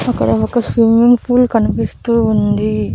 అక్కడ ఒక swimming pool కనిపిస్తూ ఉంది.